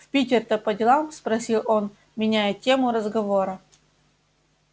в питер-то по делам спросил он меняя тему разговора